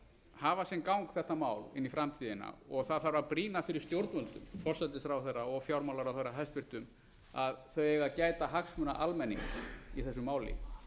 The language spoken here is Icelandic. hafa sinn gang þetta mál inn í framtíðina það þarf að brýna fyrir stjórnvöldum forsætisráðherra og fjármálaráðherra hæstvirtur að þau eiga að gæta hagsmuna almennings í vísu máli